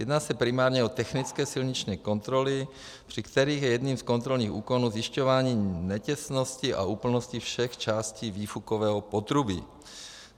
Jedná se primárně o technické silniční kontroly, při kterých je jedním z kontrolních úkonů zjišťování netěsnosti a úplnosti všech částí výfukového potrubí.